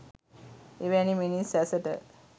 එවැනි මිනිස් ඇසට